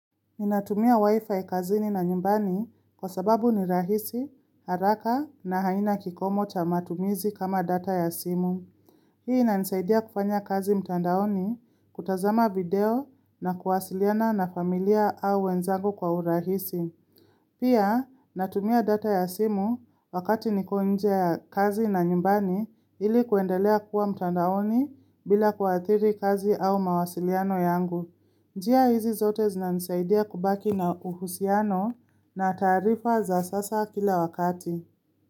Ninatumia wifi kazini na nyumbani kwa sababu ni rahisi, haraka na haina kikomo cha matumizi kama data ya simu. Hii inanisaidia kufanya kazi mtandaoni kutazama video na kuwasiliana na familia au wenzangu kwa urahisi. Pia, natumia data ya simu wakati niko nje ya kazi na nyumbani ili kuendelea kuwa mtandaoni bila kuathiri kazi au mawasiliano yangu. Njia hizi zote zinanisaidia kubaki na uhusiano na taarifa za sasa kila wakati.